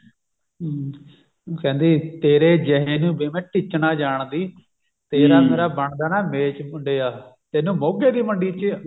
ਹਮ ਕਹਿੰਦੀ ਤੇਰੇ ਜਿਹੇ ਨੂੰ ਵੇ ਮੈਂ ਟਿੱਚ ਨਾ ਜਾਣਦੀ ਮੇਰਾ ਬਣਦਾ ਨਾ ਮੇਚ ਮੁੰਡਿਆ ਤੈਨੂੰ ਮੋਗ੍ਹੇ ਦੀ ਮੰਡੀ ਚ ਆਉ ਵੇਚ ਮੁੰਡਿਆ